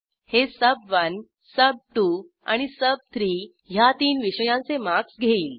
हे सुब1 सुब2 आणि सुब3 ह्या तीन विषयांचे मार्क्स घेईल